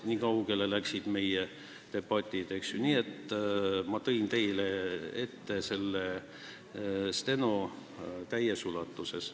Nii kaugele siis läksid meie debatid ja ma kandsin protokolli teile ette täies ulatuses.